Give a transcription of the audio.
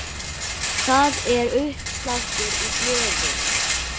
Það er uppsláttur í blöðum.